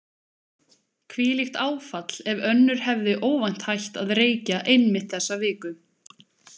Hvílíkt áfall ef önnur hefði óvænt hætt að reykja einmitt þessa viku.